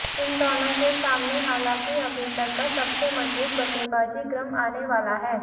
इन दोनों के सामने हालांकि अभी तक का सबसे मजबूत बल्लेबाजी क्रम आने वाला है